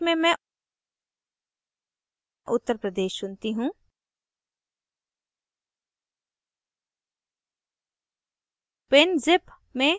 state में मैं uttar pradesh चुनती choose